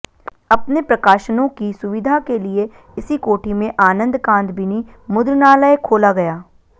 अपने प्रकाशनों की सुविधा के लिए इसी कोठी में आनन्दकादंबिनी मुद्रणालय खोला गया